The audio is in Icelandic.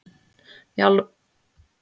Jarðskjálftar eru tíðir á þessu svæði